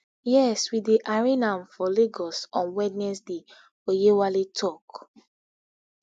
yes we dey arraign am for lagos on wednesday oyewale tok